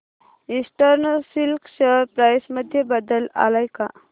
eastern silk share price मध्ये बदल आलाय का